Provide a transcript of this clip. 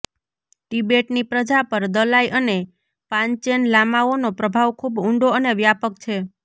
તિબેટની પ્રજા પર દલાઈ અને પાન્ચેન લામાઓનો પ્રભાવ ખૂબ ઊંડો અને વ્યાપક છે